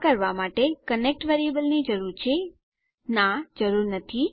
આ કરવા માટે કનેક્ટ વેરીએબલની જરૂર છે નાં જરૂર નથી